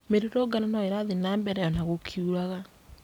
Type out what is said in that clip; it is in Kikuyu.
Mĩrũrũngano ĩno ĩrathiĩ nambere ona gũkiuraga